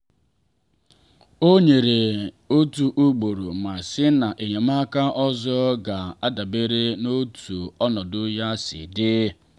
ọ nyere otu ugboro ma sị na enyemaka ọzọ ga adabere n’otú ọnọdụ ya si dị.